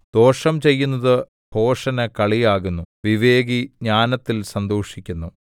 ദോഷം ചെയ്യുന്നത് ഭോഷന് കളിയാകുന്നു വിവേകി ജ്ഞാനത്തിൽ സന്തോഷിക്കുന്നു